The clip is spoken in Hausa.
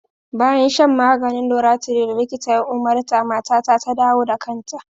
Bayan shan maganin loratiday da likita ya umarta, matata ta dawo da kanta.